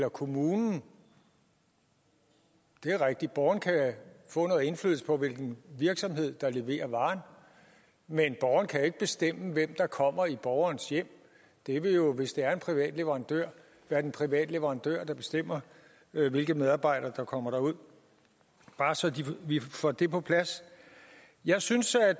og kommunen det er rigtigt borgeren kan få noget indflydelse på hvilken virksomhed der leverer varen men borgeren kan ikke bestemme hvem der kommer i borgerens hjem det vil jo hvis det er en privat leverandør være den private leverandør der bestemmer hvilke medarbejdere der kommer derud bare så vi får det på plads jeg synes at